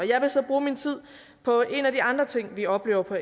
jeg vil så bruge min tid på en af de andre ting vi oplever på